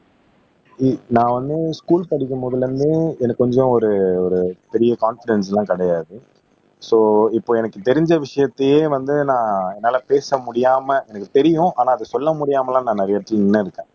உம் நான் வந்து ஸ்கூல் படிக்கும் போதிலிருந்து எனக்கு கொஞ்சம் ஒரு ஒரு பெரிய கான்பிடென்ஸ் எல்லாம் கிடையாது சோ இப்ப எனக்கு தெரிஞ்ச விஷயத்தையே வந்து நான் என்னால பேச முடியாம எனக்கு தெரியும் ஆனா அத சொல்ல முடியாம எல்லாம் நான் நிறைய இடத்துல நின்னு இருக்கேன்